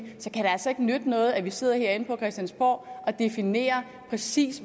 så kan det altså ikke nytte noget at vi sidder herinde på christiansborg og definerer præcis